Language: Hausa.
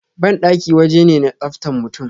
Bandaki waje ne na tsaftan mutum